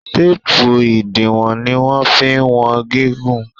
teepu idiwọn ní wan fí wọn gigun.